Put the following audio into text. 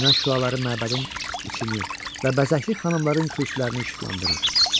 Günəş şüaları məbədin içini və bəzəkli xanımların kürsülərini işıqlandırır.